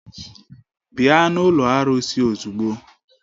Bịa n'ụlọ arụsị ozugbo!